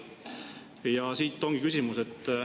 Ja siit tulebki küsimus.